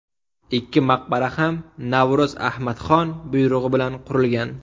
Ikki maqbara ham Navro‘z Ahmadxon buyrug‘i bilan qurilgan.